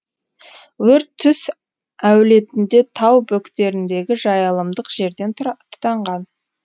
өрт түс әулетінде тау бөктеріндегі жайылымдық жерден тұтанған